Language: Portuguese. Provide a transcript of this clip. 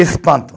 Espanto.